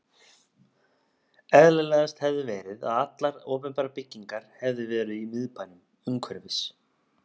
Eðlilegast hefði verið, að allar opinberar byggingar hefði verið í Miðbænum, umhverfis